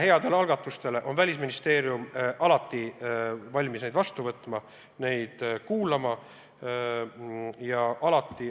Kõiki häid algatusi on Välisministeerium alati valmis vastu võtma, neid ära kuulama.